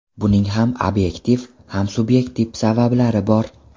Buning ham obyektiv, ham subyektiv sabablari bor.